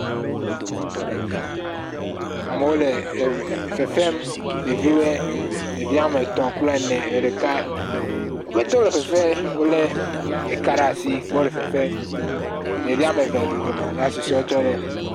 Amewo le fefem, ɖeviwoe. Ɖevi woame tɔ̃ klpe ene. Woƒe te wole fefe. Wole eka ɖa si be wole fefe. Ɖevi woame ve le dodome ya ssusɔewo tse le